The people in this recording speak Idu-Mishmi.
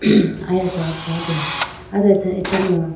hmm aya so aguwa de awdo acha nu.